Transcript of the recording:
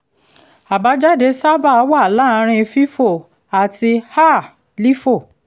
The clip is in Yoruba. àbájáde sábà wà láàárín fifo àti um lifo